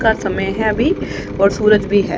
का समय है अभी और सूरज भी है।